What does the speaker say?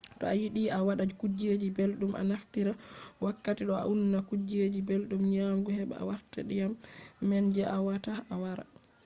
to a yiɗi a waɗa kuje belɗum a naftira wakkati ɗo a unna kuje belɗum nyamugo heɓa warta ndiyam man je awawata a yara